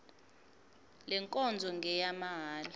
le nkonzo ngeyamahala